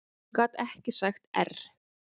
Hún gat ekki sagt err.